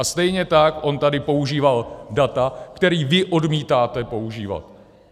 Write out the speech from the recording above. A stejně tak on tady používal data, která vy odmítáte používat.